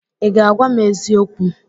I ga-agwa m eziokwu?